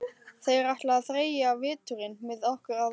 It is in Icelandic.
Þeir ætla að þreyja veturinn með okkur að vanda.